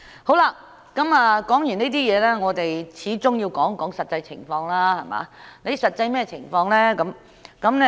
說完這些問題，我們始終要談談實際情況，甚麼是實際情況呢？